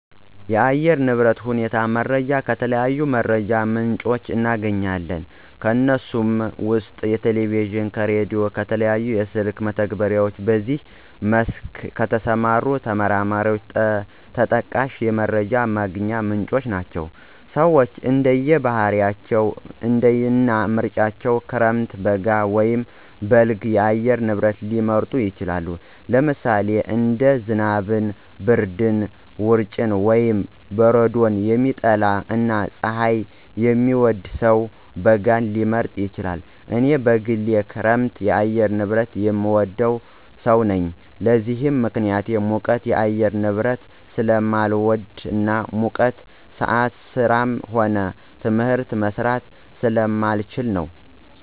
የአየር ንብረት ሁኔታ መረጃን ከተለያዩ የመረጃ ምንጮች እናገኛለን። ከነሱም ውስጥ ከቴሌቪዥን፣ ከራዲዮ፣ ከተለያዩ የስልክ መተግበሪያዎች በዚህ መስክ ከተሰማሩ ተመራማሪዎች ተጠቃሽ የመረጃ ማግኛ ምንጮች ናቸው። ሰወች እንደየ ባህሪያቸው እና ምርጫቸው ክረምት፣ በጋ ወይም በልግ የአየር ንብረት ሊመርጡ ይችላሉ። ለምሳሌ አንድ ዝናብን፣ ብርድን፣ ውርጭን ወይም በረዶን የሚጠላ እና ፀሀይን የሚወድ ሰው በጋን ሊመርጥ ይችላል። እኔ በግሌ የክረምት የአየር ንብረትን የምወድ ሰው ነኝ። ለዚህም ምክንያቴ ሙቀት የአየር ንብረትን ስለማልወድ እና በሙቀት ሰአት ስራም ሆነ ትምህርት መስራት ስለማልችል ነው።